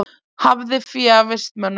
Hafði fé af vistmönnum